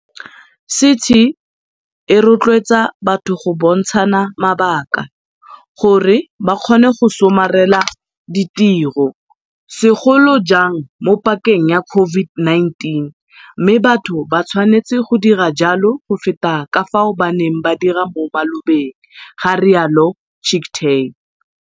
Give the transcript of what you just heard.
CT e rotloetsa batho go bontshana mabaka gore ba kgone go somarela ditiro, segolo jang mo pakeng ya COVID-19, mme batho ba tshwanetse go dira jalo go feta ka fao ba neng ba dira mo malobeng, ga rialo Chicktay.